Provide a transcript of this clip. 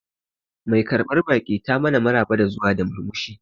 Mai karbar baki ta mana maraba da zuwa da murmushi